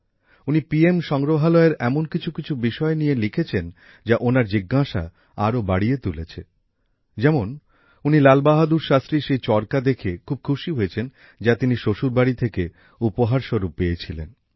উনি পি এম সংগ্রহালয়ের এমন কিছু কিছু বিষয় নিয়ে লিখেছেন যা ওনার জিজ্ঞাসা আরও বাড়িয়ে তুলেছে যেমন উনি লালবাহাদুর শাস্ত্রীর সেই চরকা দেখে খুব খুশী হয়েছেন যা তিনি শ্বশুরবাড়ি থেকে উপহার হিসেবে পেয়েছিলেন